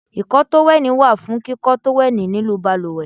Ìkọ́ tówẹ́lì wà fún kíkọ́ tówẹ́lì nínú balùwẹ̀.